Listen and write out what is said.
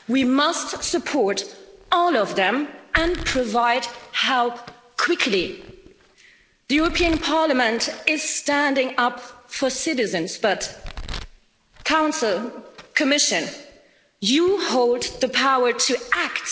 We must support all of them and provide help quickly. The European Parliament is standing up for citizens but I say to the Council and the Commission you hold the power to act.